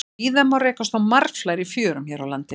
Víða má rekast á marflær í fjörum hér á landi.